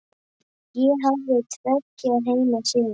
Ég hafði tveggja heima sýn.